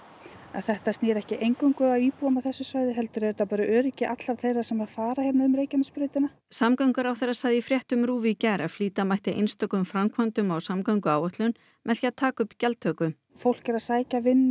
en þetta snýr ekki eingöngu að íbúum á þessu svæði heldur er þetta bara öryggi allra þeirra sem fara hérna um Reykjanesbrautina samgönguráðherra sagði í fréttum í gær að flýta mætti einstökum framkvæmdum á samgönguáætlun með því að taka upp gjaldtöku fólk er að sækja vinnu